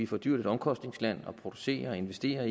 for dyrt et omkostningsland at producere investere og